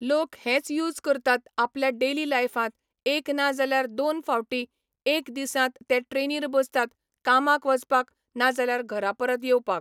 लोक हेंच यूज करतात आपल्या डेयली लायफांत एक ना जाल्यार दोन फावटी एक दिसांत ते ट्रेनीर बसतात कामाक वचपाक ना जाल्यार घरा परत येवपाक.